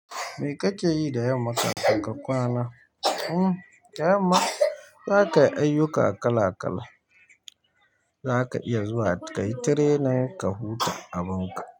Me kake yi da yamma kafin ka kwana? Hmmm, da yamma zakayi ayyuka kala kala, zaka iya zuwa ka yi training, ka huta a boka.